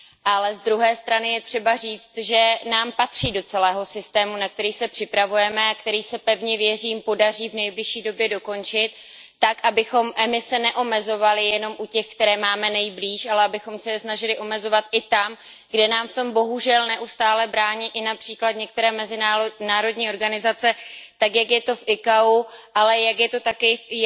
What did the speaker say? Ale na druhou stranu je třeba říci, že nám patří do celého systému, na který se připravujeme a který se, pevně věřím, podaří v nejbližší době dokončit tak, abychom emise neomezovali jenom u těch, které máme nejblíže, ale abychom se je snažili omezovat i tam, kde nám v tom bohužel neustále brání i například některé mezinárodní organizace tak, jak je to v ICAO, ale jak je to také i v